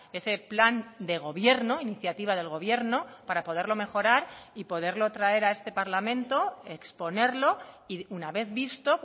ese plan de gobierno iniciativa del gobierno para poderlo mejorar y poderlo traer a este parlamento exponerlo y una vez visto